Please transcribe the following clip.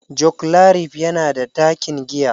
Joclarif yana da ɗakin giya.